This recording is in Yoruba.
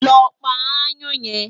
Lọ pa aáyán yẹn!